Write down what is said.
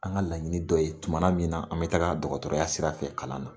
An ka laɲini dɔ ye tumana min na an bi taga dɔgɔtɔrɔya sira fɛ kalan na.